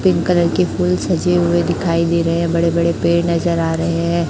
Pink colour की फुल सजे हुए दिखाई दे रहे हैं बड़े बड़े पेड़ नजर आ रहे हैं।